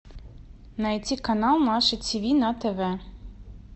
найти канал наше тв на тв